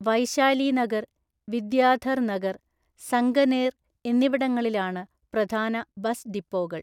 വൈശാലി നഗർ, വിദ്യാധർ നഗർ, സംഗനേർ എന്നിവിടങ്ങളിലാണ് പ്രധാന ബസ് ഡിപ്പോകൾ.